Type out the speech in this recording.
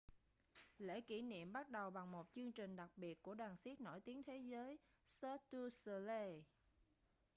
lễ kỷ niệm bắt đầu bằng một chương trình đặc biệt của đoàn xiếc nổi tiếng thế giới cirque du soleil